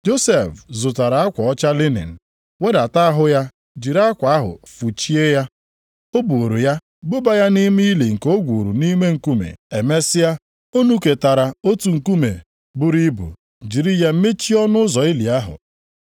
Josef zụtara akwa ọcha linin, wedata ahụ ya jiri akwa ahụ fụchie ya. O buuru ya buba ya nʼime ili nke o gwuru nʼime nkume. Emesịa o nuketara otu nkume buru ibu, jiri ya mechie ọnụ ụzọ ili ahụ.